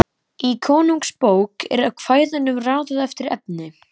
Í Konungsbók er kvæðunum raðað eftir efni.